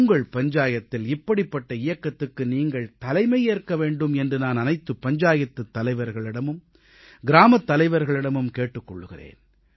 உங்கள் பஞ்சாயத்தில் இப்படிப்பட்ட இயக்கத்துக்கு நீங்கள் தலைமை ஏற்க வேண்டும் என்று நான் அனைத்து பஞ்சாயத்துத் தலைவர்களிடமும் கிராமத் தலைவர்களிடமும் கேட்டுக் கொள்கிறேன்